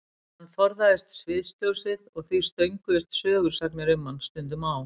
Hann forðaðist sviðsljósið og því stönguðust sögusagnir um hann stundum á.